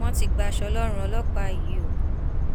wọn ti gbaṣọ lọrùn ọlọpàá yìí o